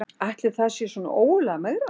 Ætli það sé svona ógurlega megrandi